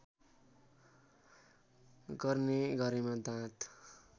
गर्ने गरेमा दाँत